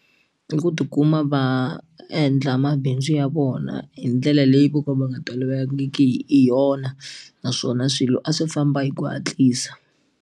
I ku tikuma va endla mabindzu ya vona hi ndlela leyi vo ka va nga tolovelangiki hi yona naswona swilo a swi famba hi ku hatlisa.